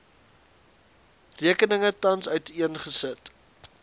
rekeninge tans uiteengesit